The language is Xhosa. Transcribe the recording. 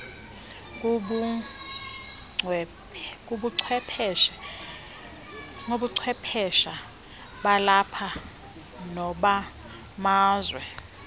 kubuchwephesha balapha nobamazwe